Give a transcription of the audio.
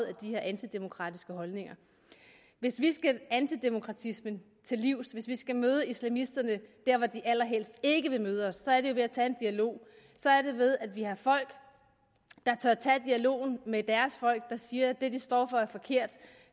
af de her antidemokratiske holdninger hvis vi skal antidemokratismen til livs hvis vi skal møde islamisterne der hvor de allerhelst ikke vil møde os så er det jo ved at tage en dialog så er det ved at vi har folk der tør tage dialogen med deres folk og sige at det de står for er forkert